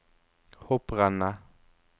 hopprennet